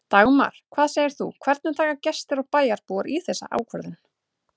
Dagmar, hvað segir þú, hvernig taka gestir og bæjarbúar í þessa ákvörðun?